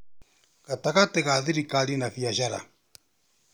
Gatagatĩ ga thirikari na biacara